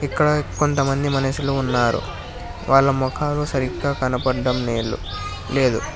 ఇక్కడ కొంతమంది మనుషులు ఉన్నారు వాళ్ళ ముఖాలు సరిగ్గా కనబడటం లేదు లేదు.